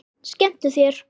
Skemmtu þér.